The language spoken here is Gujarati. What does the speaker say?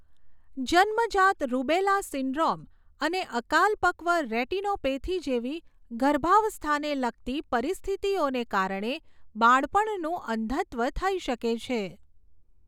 જન્મજાત રૂબેલા સિન્ડ્રોમ અને અકાલપક્વ રેટિનોપેથી જેવી ગર્ભાવસ્થાને લગતી પરિસ્થિતિઓને કારણે બાળપણનું અંધત્વ થઈ શકે છે.